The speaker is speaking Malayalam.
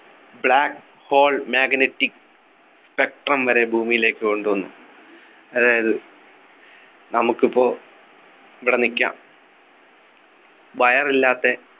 black hole magnetic spectrum വരെ ഭൂമിയിലേക്ക് കൊണ്ടുവന്നു അതായത് നമുക്ക് ഇപ്പോ ഇവിടെ നിക്കാം wire ഇല്ലാത്ത